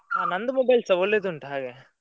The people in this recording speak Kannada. ಹಾ ನಂದು mobile ಸ ಒಳ್ಳೆದುಂಟು ಹಾಗೆ.